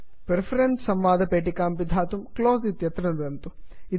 preferences preference संवादपेटिकां पिधातुं close close इत्यत्र नुदन्तु